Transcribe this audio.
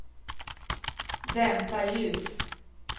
dämpa ljus